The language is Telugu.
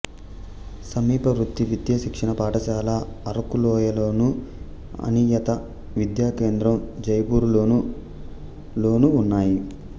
సమీప వృత్తి విద్యా శిక్షణ పాఠశాల అరకులోయలోను అనియత విద్యా కేంద్రం జైపూరులోను లోనూ ఉన్నాయి